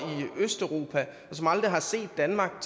østeuropa og som aldrig har set danmark